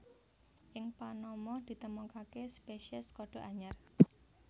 Ing Panama ditemokaké spésiés kodhok anyar